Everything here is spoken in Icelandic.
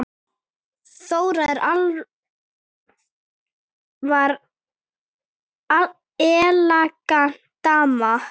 Þóra var elegant dama.